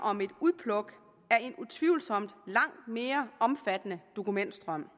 om et udpluk af en utvivlsomt langt mere omfattende dokumentstrøm